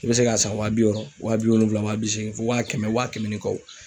I bɛ se k'a san wa bi wɔɔrɔ wa bi wolonvila wa bi seegin fɔ waa kɛmɛ wa kɛmɛ ni kɔ.